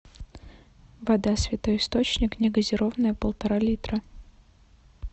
вода святой источник негазированная полтора литра